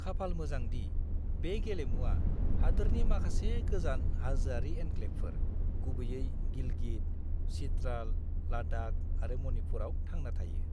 खाफाल मोजां दि, बे गेलुमुवा हादोरनि माखासे गोजान हाजोआरि एनक्लेबफोर, गुबैयै गिलगित, चित्राल, लाद्दाख आरो मणिपुराव थांना थायो।